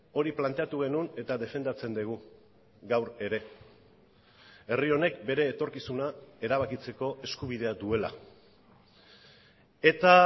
hori planteatu genuen eta defendatzen dugu gaur ere herri honek bere etorkizuna erabakitzeko eskubidea duela eta